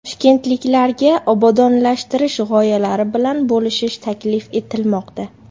Toshkentliklarga obodonlashtirish g‘oyalari bilan bo‘lishish taklif etilmoqda.